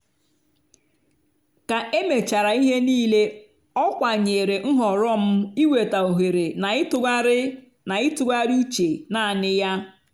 ka emechara ihe niile ọ kwanyere nhọrọ m ịweta ohere na ịtụgharị na ịtụgharị uche naanị ya.